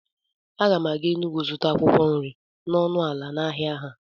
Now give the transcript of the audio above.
Aga m aga Enugwu zụta akwụkwọ nri n'ọnụ ala n'ahịa ha